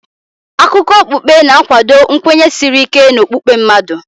Akụkọ okpukpe na-akwado nkwenye siri ike n'okpukpe mmadụ.